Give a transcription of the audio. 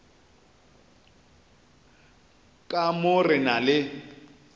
ka mo re na le